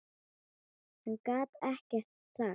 Hann gat ekkert sagt.